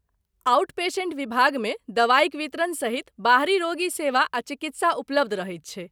Out patient विभागमे दबाइक वितरण सहित बाहरी रोगी सेवा आ चिकित्सा उपलब्ध रहैत छैक।